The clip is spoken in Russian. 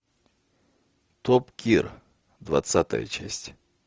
топ гир двадцатая часть